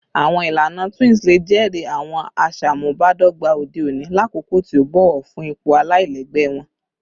Awọn ilana twins le jẹri awọn aṣamubadọgba ode oni lakoko ti o bọwọ fun ipo alailẹgbẹ wọn